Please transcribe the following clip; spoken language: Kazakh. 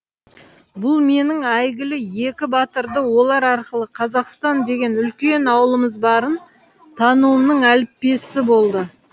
бұл менің әйгілі екі батырды олар арқылы қазақстан деген үлкен ауылымыз барын тануымның әліппесі болды